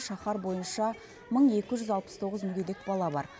шаһар бойынша мың екі жүз алпыс тоғыз мүгедек бала бар